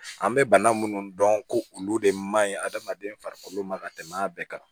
An bɛ bana minnu dɔn ko olu de man ɲi adamaden farikolo ma ka tɛmɛ a bɛɛ kan